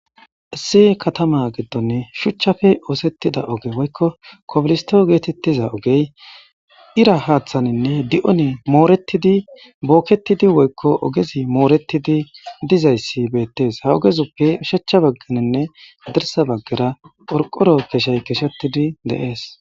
Isi katama giddonne shuchchafe oosettida oge woykko koblisto geetettiza ogey ira haaththaninne di'one mooretidi bookketidi woykko ogezi mooretidi dizayssi beettes ha ogezuppe ushachcha bagganinne dirsa baggara orqoro keshay keshetidi deees.